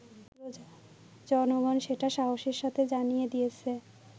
জনগণ সেটা সাহসের সাথে জানিয়ে দিয়েছে